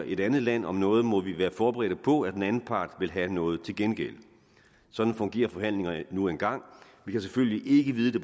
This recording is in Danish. et andet land om noget må vi være forberedte på at den anden part vil have noget til gengæld sådan fungerer forhandlinger nu engang vi kan selvfølgelig ikke vide det